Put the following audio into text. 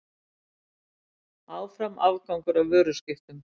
Áfram afgangur af vöruskiptum